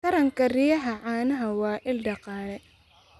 Taranka riyaha caanaha waa il dhaqaale.